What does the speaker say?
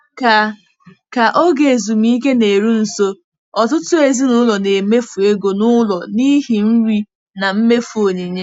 Ka Ka oge ezumike na-eru nso, ọtụtụ ezinụlọ na-emefu ego n'ụlọ n'ihi nri na mmefu onyinye.